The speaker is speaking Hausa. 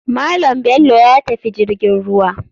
Malam bello yatafi jirgin ruwa.